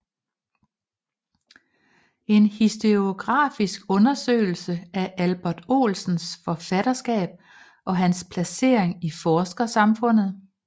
En historiografisk undersøgelse af Albert Olsens forfatterskab og hans placering i forskersamfundet